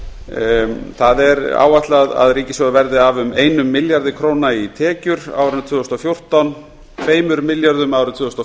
rakið það er áætlað að ríkissjóður verði af um einum milljarði í tekjur á árinu tvö þúsund og fjórtán tveimur milljörðum árið tvö þúsund og